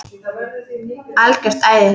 Algjört æði.